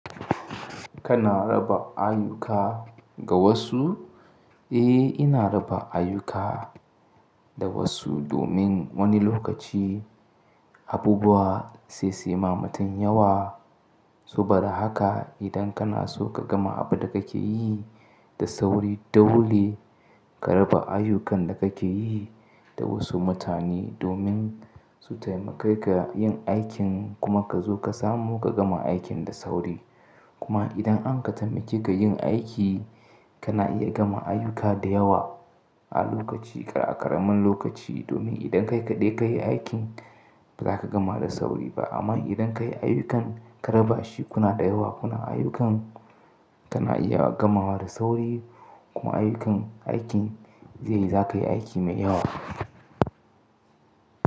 Kana raba ayyuka ga wasu? Eh, ina raba ayyuka da wasu domin wani lokaci abubuwa sai suyima mutum yawa. Su bar haka idan kana so ka gama abin da kake yi da sauri dole ka raba ayyukan da kake yi da wasu mutane domin su taimake ka yin aikin kuma ka zo ka samu ka gama aikin da sauri. Kuma idan an ka taimake ka yin aiki, kana iya gama ayuka da yawa a lokaci aƙaramin lokaci domin idan kai kaɗai ka yi aikin ba za ka gama da sauri ba. Amma idan ka yi ayyukan ka raba shi kuna daya wa kuna ayyukan kana iya gamawa da sauri kuma ayyukan aikin zai-- za ka yi aiki mai yawa.